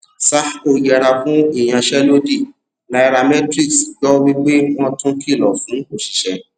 sahco yẹra fún ìyanṣẹlódì nairametrics gbọ wí pé wọn tun kìlọ fún òṣìṣẹ